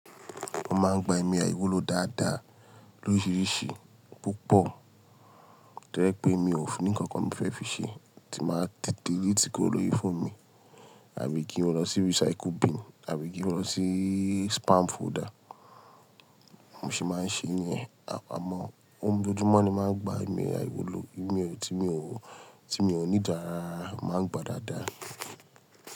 Mo máa ń gba ìmọ̀ àìwúlò dáadáa lóríṣìíríṣìí Púpọ̀ tó jẹ́ pé mi ò ní kankan mo fẹ́ fi ṣe tí máa tì delete kúrò lórí fóònù mi àbí kí n lọ sí recycle bin àbí kí n lọ sí spam folder. Mo sì máa ń ṣe niyẹn àmọ́ ohun gbogbo mọ́ ni máa ń gba ìmọ̀ àìwúlò tí mi ò ní dára máa ń gba dáadáa.